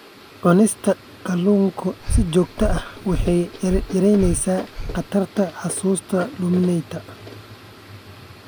Cunista kalluunka si joogto ah waxay yaraynaysaa khatarta xusuusta luminta.